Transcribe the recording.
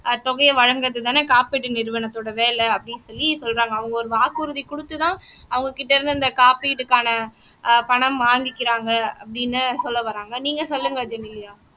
தொகையை வழங்குறதுதானே காப்பீட்டு நிறுவனத்தோட வேலை அப்படின்னு சொல்லி சொல்றாங்க அவங்க ஒரு வாக்குறுதி குடுத்துதான் அவங்க கிட்ட இருந்து இந்த காப்பீட்டுக்கான அஹ் பணம் வாங்கிக்கிறாங்க அப்படீன்னு சொல்ல வராங்க நீங்க சொல்லுங்க ஜெனிலியா